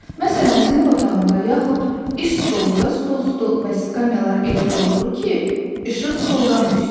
Məsələn, sinif otağında yaxud iş stolunda stol stol və skamyalar elə qoyulur ki, işıq soldan düşsün.